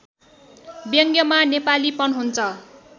व्यङ्ग्यमा नेपालीपन हुन्छ